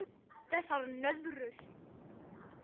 Þessar nöðrur!